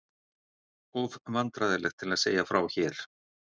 Of vandræðalegt til að segja frá hér.